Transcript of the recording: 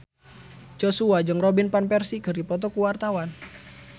Joshua jeung Robin Van Persie keur dipoto ku wartawan